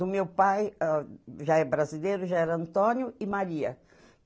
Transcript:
Do meu pai, ah, já é brasileiro, já era Antônio e Maria.